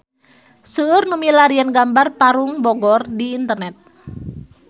Seueur nu milarian gambar Parung Bogor di internet